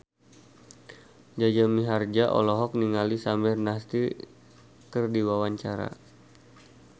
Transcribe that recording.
Jaja Mihardja olohok ningali Samir Nasri keur diwawancara